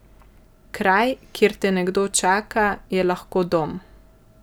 Kraj, kjer te nekdo čaka, je lahko dom.